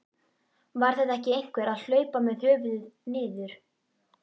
Var þetta ekki einhver að hlaupa með höfuðið niður?